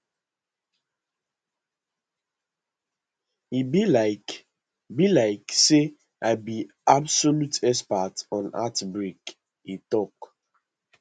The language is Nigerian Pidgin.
e be like be like say i be absolute expert on heartbreak e tok